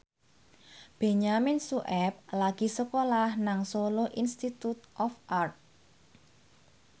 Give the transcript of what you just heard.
Benyamin Sueb lagi sekolah nang Solo Institute of Art